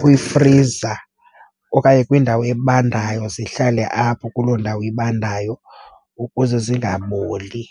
kwifriza okanye kwindawo ebandayo, zihlale apho kuloo ndawo ibandayo ukuze zingaboli.